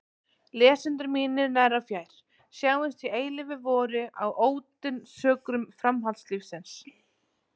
Lesendur mínir nær og fjær, sjáumst í eilífu vori á ódáinsökrum framhaldslífsins!